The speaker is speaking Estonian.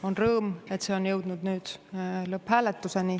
On rõõm, et see on jõudnud nüüd lõpphääletuseni.